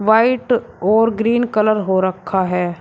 White और green colour हो रखा है।